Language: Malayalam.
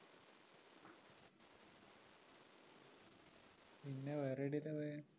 പിന്നെ വേറെ എവിടെയല്ലാ പോയെ?